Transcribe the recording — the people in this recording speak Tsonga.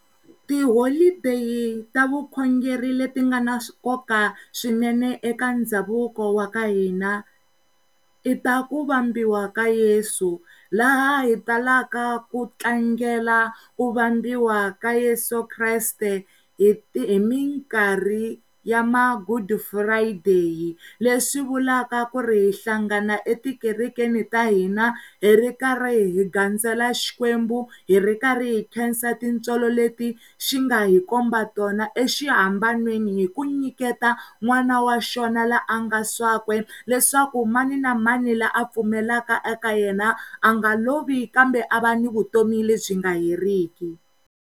Tiholideyi ta vukhongeri le ti nga na nkoka swinene eka ndhavuko wa ka hina i ta ku vambiwa ka Yesu laha hi talaka ku tlangela ku vambiwa ka Yeso Kreste hi mikarhi ya magudufurayideyi leswi vulavula ku ri hi hlangana etikerekeni ta hina hi ri karhi ghandzela xikwembu, hi ri nkarhi hi khensa tintswalo le ti xi nga hi komba tona exihamban'weni hi ku nyiketa n'wana wa xona loyi a nga swakwe leswaku maninamani loyi a pfumelelaka eka yena a nga lovi kambe a va ni vutomi lebyi nga heriki.